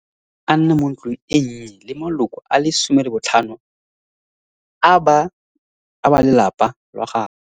Botlhaba, a nna mo ntlong e nnye le maloko a le 15 a ba lelapa lwa gagwe.